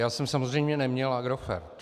Já jsem samozřejmě neměl Agrofert.